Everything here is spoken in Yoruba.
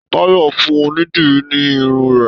Táyọ̀ fún onídìrí ní irun rẹ̀.